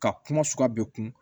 Ka kuma sugu bɛɛ kun